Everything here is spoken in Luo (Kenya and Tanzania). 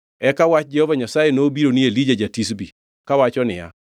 Eka wach Jehova Nyasaye nobiro ni Elija ja-Tishbi, kawacho niya,